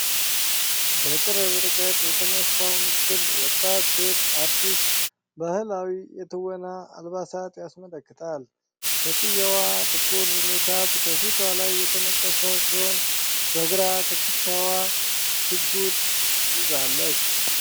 በቅርብ ርቀት የተነሳው ምስል ወጣት ሴት አርቲስት በባህላዊ የትወና አልባሳት ያስመለክታል። ሴትየዋ ጥቁር ሜካፕ ከፊቷ ላይ የተነቀሰ ሲሆን፣ በግራ ትከሻዋ ሽጉጥ ያዛለች።